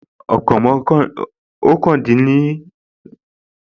Ọ̀kàndínlọ́gbọ̀n tàbí ọgbọ̀n ọjọ́ ni ràmàdánà